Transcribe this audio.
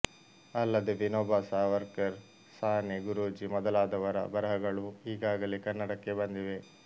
ಅಲ್ಲದೆ ವಿನೋಬಾ ಸಾವರ್ಕರ್ ಸಾನೆ ಗುರೂಜಿ ಮೊದಲಾದವರ ಬರೆಹಗಳೂ ಈಗಾಗಲೇ ಕನ್ನಡಕ್ಕೆ ಬಂದಿವೆ